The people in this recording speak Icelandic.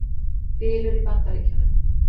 Bylur í Bandaríkjunum